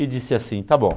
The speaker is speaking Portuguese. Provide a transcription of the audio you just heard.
E disse assim, tá bom.